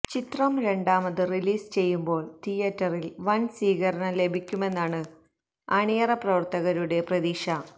ചിത്രം രണ്ടാമത് റിലീസ് ചെയ്യുമ്പോൾ തിയേറ്ററിൽ വൻ സ്വീകരണം ലഭിക്കുമെന്നാണ് അണിയറ പ്രവർത്തകരുടെ പ്രതീക്ഷ